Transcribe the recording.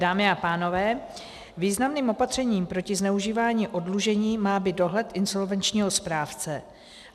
Dámy a pánové, významným opatřením proti zneužívání oddlužení má být dohled insolvenčního správce.